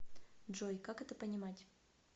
джой как это понимать